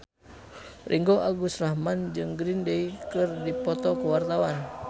Ringgo Agus Rahman jeung Green Day keur dipoto ku wartawan